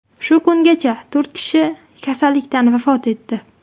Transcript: Shu kungacha to‘rt kishi kasallikdan vafot etdi.